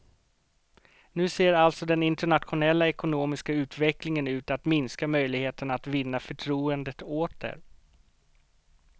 Nu ser alltså den internationella ekonomiska utvecklingen ut att minska möjligheterna att vinna förtroendet åter.